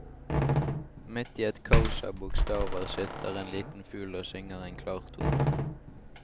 Midt i et kaos av bokstaver sitter en liten fugl og synger en klar tone.